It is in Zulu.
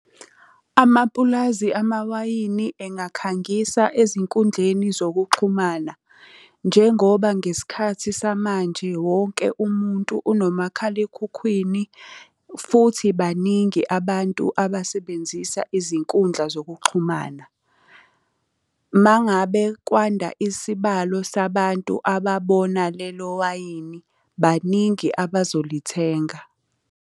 Amapulazi amawayini engakhangisa ezinkundleni zokuxhumana. Njengoba ngesikhathi samanje wonke umuntu unomakhalekhukhwini futhi baningi abantu abasebenzisa izinkundla zokuxhumana. Uma ngabe kwanda isibalo sabantu ababona lelo wayini, baningi abazolithenga.